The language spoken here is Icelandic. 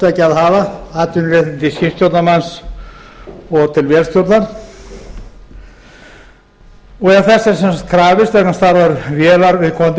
tveggja að hafa atvinnuréttindi skipstjórnarmanns og til vélstjórnar ef þess er krafist vegna stærðar vélar viðkomandi báts þá leggjum við til